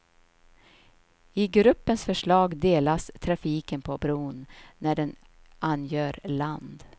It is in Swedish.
I gruppens förslag delas trafiken på bron när den angör land.